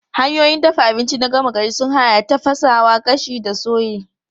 Hanyoyin dafa abinci na gama gari sun haɗa da tafasa, gashi da soye.